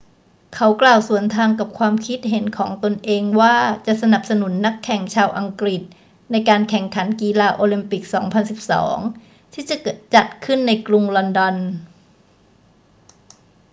เขากล่าวสวนทางกับความคิดเห็นของตนเองว่าจะสนับสนุนนักแข่งชาวอังกฤษในการแข่งขันกีฬาโอลิมปิก 2012 ที่จะจัดขึ้นในกรุงลอนดอน